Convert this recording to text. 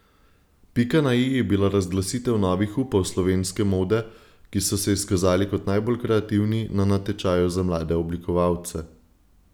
Pika na i je bila razglasitev novih upov slovenske mode, ki so se izkazali kot najbolj kreativni na natečaju za mlade oblikovalce.